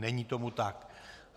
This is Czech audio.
Není tomu tak.